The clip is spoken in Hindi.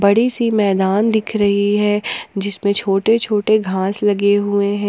बड़ी सी मैदान दिख रही है जिसमें छोटे छोटे घास लगे हुए हैं।